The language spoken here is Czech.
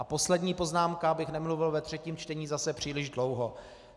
A poslední poznámka, abych nemluvil ve třetím čtení zase příliš dlouho.